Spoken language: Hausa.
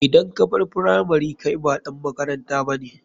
Idan kabar firamari kai ba ɗan makaranta bane.